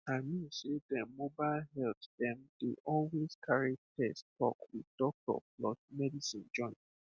i mean sey dem mobile health dem dey always carry test talk with doctor plus medicine join